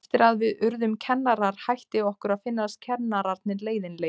Eftir að við urðum kennarar hætti okkur að finnast kennararnir leiðinlegir.